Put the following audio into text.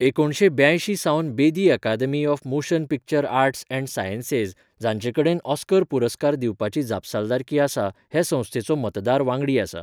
एकुणशे ब्यांयशी सावन बेदी Academy of Motion Picture Arts and Sciences, जांचे कडेन ऑस्कर पुरस्कार दिवपाची जापसालदारकी आसा, हे संस्थेचो मतदार वांगडी आसा.